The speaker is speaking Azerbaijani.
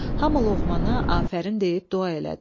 Hamı Loğmana afərin deyib dua elədi.